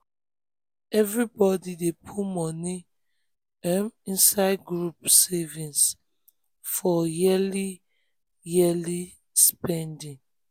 everybody dey put money um inside group savings for yearly for yearly spendings.